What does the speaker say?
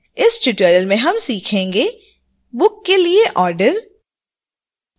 इस tutorial में हम सीखेंगे: book के लिए ऑर्डर